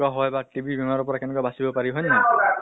কেনেকুৱা হয় বা TB বেমাৰৰ পৰা কেনেকে বাচিব পাৰি হয় নে নহয়?